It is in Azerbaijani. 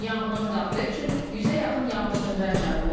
Yanğına müdaxilə üçün 100-ə yaxın yanğınsöndürən cəlb olunub.